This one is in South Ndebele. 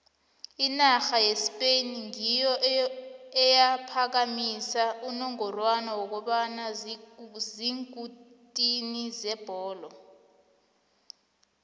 inarha yespain ngiyo eyaphakamisa unongorwana wokuba ziinkutini zebholo